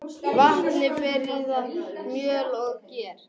Vatn fer í það, mjöl og ger.